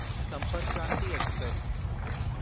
Sampark Kranti express